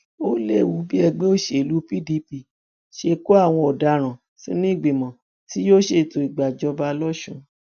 ó léwu bí ẹgbẹ òṣèlú pdp ṣe kó àwọn ọdaràn sínú ìgbìmọ tí yóò ṣètò ìgbàjọba lọsùn